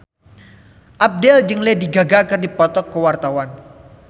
Abdel jeung Lady Gaga keur dipoto ku wartawan